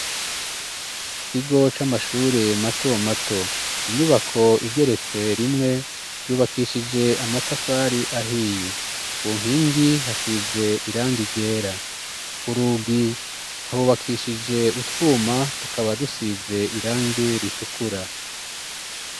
Ikigo c'amashuri mato mato. Inyubako igeretse rimwe, yubakishije amatafari ahiye. Ku nkingi hasize irangi ryera. Ku rugi hubakishije utwuma, tukaba dusize irangi ritukura.